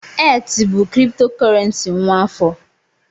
ETH bụ kriptokurrency nwa afọ